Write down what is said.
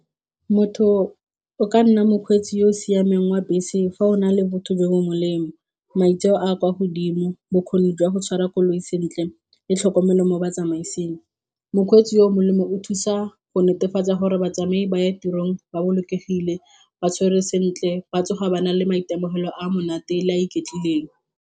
Motho o ka nna mokgweetsi yo o siameng wa bese fa o na le botho jo bo molemo, maitseo a a kwa godimo, bokgoni jwa go tshwara koloi sentle, tlhokomelo mo botsamaiseng. Mokgweetsi yo molemo o thusa go netefatsa gore batsamai ba ya tirong ba bolokegile, ba tshwerwe sentle ba tsoga ba na le maitemogelo a monate le a iketlileng.